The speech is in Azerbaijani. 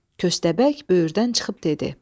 Köstəbək böyürdən çıxıb dedi.